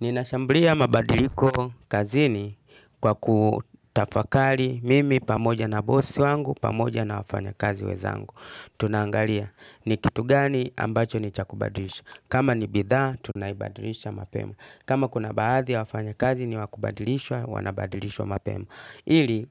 Nina shambulia mabadiliko kazini kwa kutafakali mimi pamoja na bosi wangu pamoja na wafanya kazi wezangu. Tunaangalia ni kitu gani ambacho ni cha kubadilisha. Kama ni bidhaa tunaibadilisha mapema. Kama kuna baadhi ya wafanya kazi ni wakubadilishwa wanabadilishwa mapema. Ili